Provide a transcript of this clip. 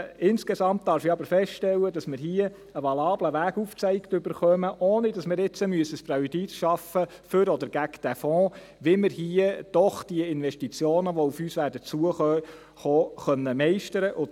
Insgesamt darf ich aber feststellen, dass wir hier einen valablen Weg aufgezeigt bekommen, ohne dass wir ein Präjudiz für oder gegen den Fonds schaffen, wie wir hier doch die Investitionen, welche auf uns zukommen werden, meistern können.